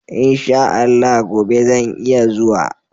In sha Allah gobe zan iya zuwa.